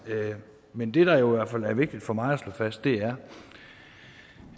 men det der jo i hvert fald er vigtigt for mig at slå fast er